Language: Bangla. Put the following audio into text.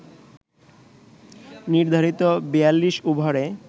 নির্ধারিত ৪২ ওভারে